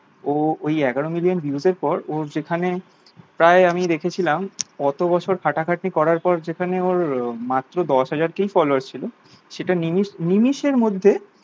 ও ওই এগারো million views এর পর ও যেখানে প্রায় আমি দেখেছিলাম অটো বছর খাটা খাটি করার পর যেখানে ওর মাত্র দশ হাজার কে followers ছিল সেটা নিমিষ নিমিষের মধ্যে